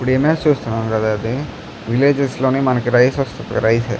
ఇప్పుడు ఇమేజ్ చుస్తునము కదా ఇది విల్లగెస్ లోని మనకి రైస్ ఒస్తది కదా రైస్ .